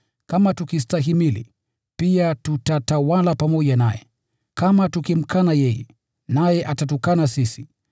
Kama tukistahimili, pia tutatawala pamoja naye. Kama tukimkana yeye, naye atatukana sisi.